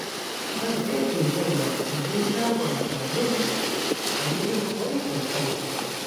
Zan tsefe kaina na je shagon salun a yi min wankin kai.